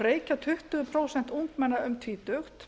reykja tuttugu prósent ungmenna um tvítugt